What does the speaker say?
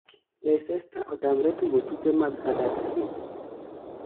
leicester otamre tugo tuke mag huddersfield